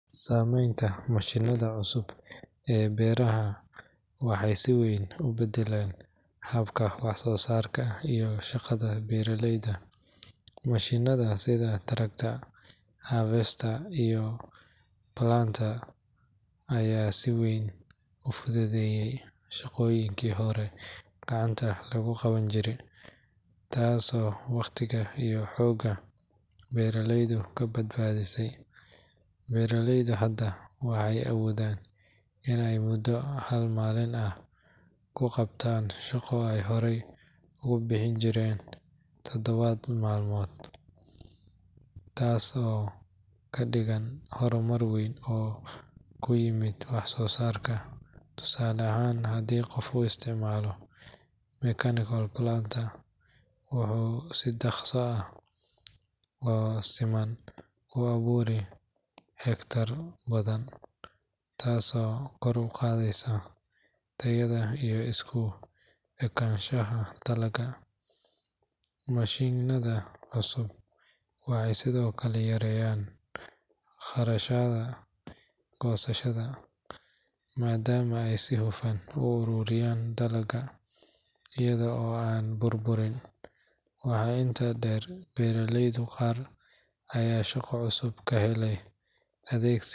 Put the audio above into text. Saameynta mashiinnada cusub ee beeraha waxay si weyn u beddeleen habka wax-soo-saarka iyo shaqada beeraleyda. Mashiinnada sida tractors, harvesters iyo planters ayaa si weyn u fududeeyay shaqooyinkii hore gacanta lagu qaban jiray, taasoo waqtiga iyo xoogga beeraleyda ka badbaadisay. Beeraleydu hadda waxay awoodaan in ay muddo hal maalin ah ku qabtaan shaqo ay hore ugu bixi jirtay toddoba maalmood, taas oo ka dhigan horumar weyn oo ku yimid wax-soo-saarka. Tusaale ahaan, haddii qof uu isticmaalo mechanical planter, wuxuu si dhakhso ah oo siman u abuuraa hektaarro badan, taasoo kor u qaadaysa tayada iyo isku ekaanshaha dalagga. Mashiinnada cusub waxay sidoo kale yareeyeen khasaaraha goosashada, maadaama ay si hufan u ururiyaan dalagga iyaga oo aan burburin. Waxaa intaa dheer, beeraleyda qaar ayaa shaqo cusub ka helay adeegsi.